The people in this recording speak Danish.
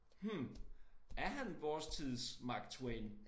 Hm er han vores tids Mark Twain